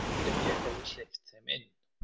Hvað hefði gerst ef ég hefði hleypt þeim inn?